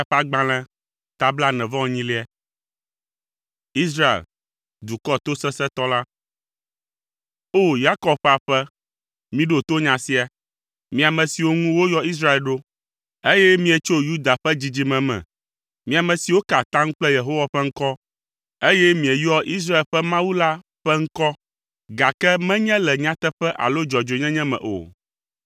“O! Yakob ƒe aƒe, miɖo to nya sia. Mi ame siwo ŋu woyɔ Israel ɖo, eye mietso Yuda ƒe dzidzime me. Mi ame siwo ka atam kple Yehowa ƒe ŋkɔ, eye mieyɔa Israel ƒe Mawu la ƒe ŋkɔ, gake menye le nyateƒe alo dzɔdzɔenyenye me o.